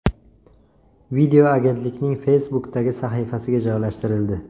Video agentlikning Facebook’dagi sahifasiga joylashtirildi .